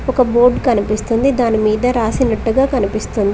ఒక బోర్డ్ కనిపిస్తుంది దాని మీద రాసినట్టుగా కనిపిస్తుంది.